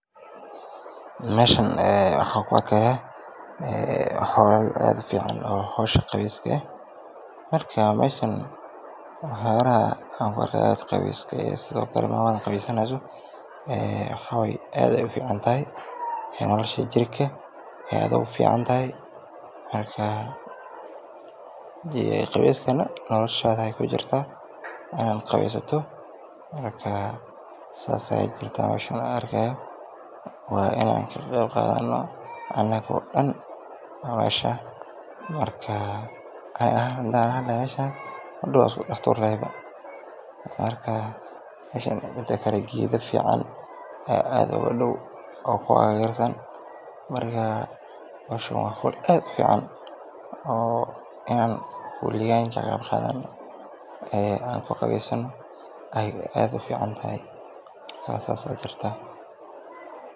Meeshan waxaan ku arkaayo howl aad ufican oo ah howsha qabeeska, sido kale maamada qabeysaneyso aad ayeey ufican tahay, noloshada ayeey ku jirta inaad qabeeysato, waa inaan ka qeeb qaadani, mida kale geeda aad ufican ayaa ku dow, waa howl inaan ka qeyb qaadano aad aay ufican tahay.